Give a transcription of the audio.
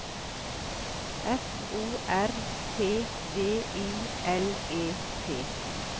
F O R T V I L E T